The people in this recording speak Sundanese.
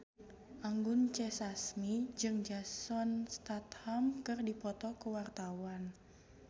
Anggun C. Sasmi jeung Jason Statham keur dipoto ku wartawan